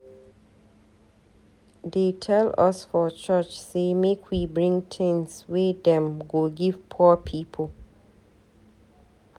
Dey tell us for church sey make we bring tins wey dem go give poor people.